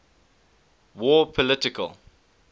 war political